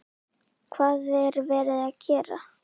Hvað er verið að gera?